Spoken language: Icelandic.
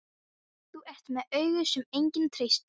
Það var gott að koddinn gat skýlt gráti hennar.